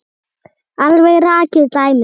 Alveg rakið dæmi.